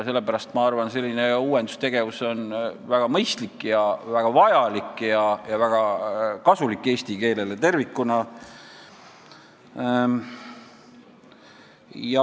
Sellepärast ma arvan, et uuendustegevus on väga mõistlik, vajalik ja kasulik eesti keelele tervikuna.